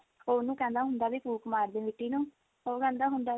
ਉਹ ਉਹਨੂੰ ਕਹਿੰਦਾ ਹੁੰਦਾ ਵੀ ਫੂਕ ਮਾਰ ਦੇ ਮਿੱਟੀ ਨੂੰ ਉਹ ਕਹਿੰਦਾ ਹੁੰਦਾ